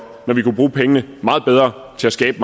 når vi kunne bruge pengene meget bedre til at skabe